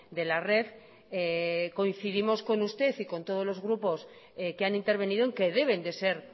de la red coincidimos con usted y con todos los grupos que han intervenido en que deben de ser